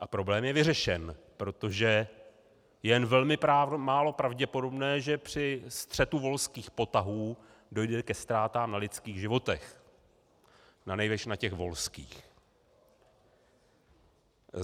A problém je vyřešen, protože je jen velmi málo pravděpodobné, že při střetu volských potahů dojde ke ztrátám na lidských životech, nanejvýš na těch volských.